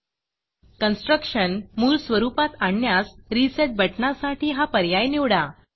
constructionकन्स्ट्रक्टशन मूळ स्वरूपात आणण्यास resetरिसेट बटणासाठी हा पर्याय निवडा